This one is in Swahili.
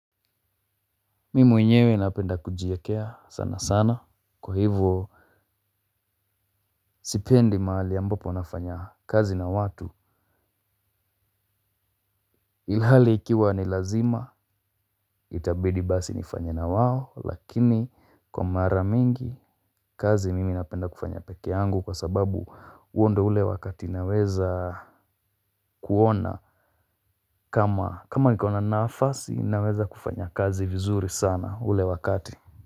Mimi mwenyewe napenda kujiekea sana sana kwa hivyo. Sipendi mahali ambapo nafanya kazi na watu. Ilhali ikiwa ni lazima itabidi basi nifanye na wao lakini kwa mara mingi kazi mimi napenda kufanya peke yangu kwa sababu huo ndiyo ule wakati naweza kuona. Kama kama iko na nafasi naweza kufanya kazi vizuri sana ule wakati.